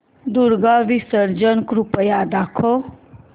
दुर्गा विसर्जन कृपया दाखव